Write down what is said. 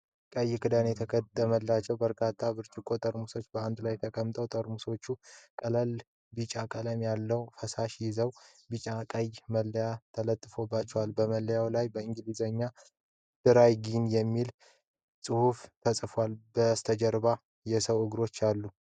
ቀይ ክዳኖች የተገጠሙባቸው በርካታ ብርጭቆ ጠርሙሶች በአንድ ላይ ተቀምጠዋል። ጠርሙሶቹ ቀላል ቢጫ ቀለም ያለው ፈሳሽ ይዘዋል፤ ቢጫና ቀይ መለያ ተለጥፎባቸዋል። በመለያው ላይ በእንግሊዝኛ "DRY GIN" የሚል ጽሁፍ ተጽፏል። ከበስተጀርባ የሰው እግሮች ይታያሉ።